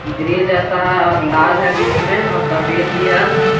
Grey जैसा है और लाल है बीच मे और सफेद भी है।